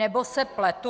Nebo se pletu?